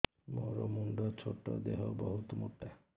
ମୋର ମୁଣ୍ଡ ଛୋଟ ଦେହ ବହୁତ ମୋଟା